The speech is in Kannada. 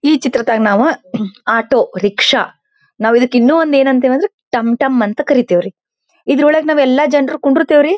ಈ ಚಿತ್ರದಗ ನಾವು ಆಟೋ ರಿಕ್ಷಾ ನಾವ ಇದಕ್ಕ ಇನ್ನು ಏನ್ ಅಂತಿವಂದ್ರೆ ಟಂಟಂ ಅಂತ ಕರೀತೀವ್ರಿ. ಇದರೊಳಗೆ ನಾವಯೆಲ್ಲಾ ಜನರು ಕುಡ್ರತಿವರೀ.--